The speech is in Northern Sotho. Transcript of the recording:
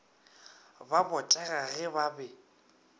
ba botega ge ba be